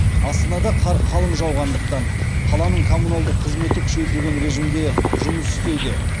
астанада қар қалың жауғандықтан қаланың коммуналдық қызметі күшейтілген режимде жұмыс істеуде